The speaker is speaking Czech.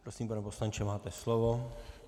Prosím, pane poslanče, máte slovo.